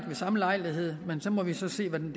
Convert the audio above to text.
ved samme lejlighed men så må vi se hvordan